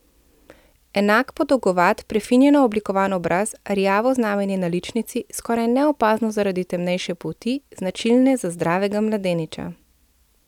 Enak podolgovat, prefinjeno oblikovan obraz, rjavo znamenje na ličnici, skoraj neopazno zaradi temnejše polti, značilne za zdravega mladeniča.